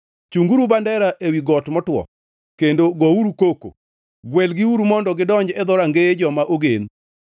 Chunguru bandera ewi got motwo kendo gouru koko, gwelgiuru mondo gidonj e dhorangeye joma ogen.